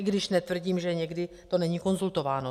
I když netvrdím, že někdy to není konzultováno.